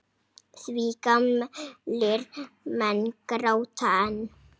Því gamlir menn gráta enn.